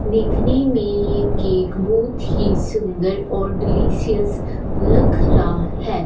दिखने में ये केक बहुत ही सुंदर और डिलीशियस लग रा हैं।